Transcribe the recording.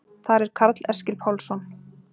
Þar er Karl Eskil Pálsson.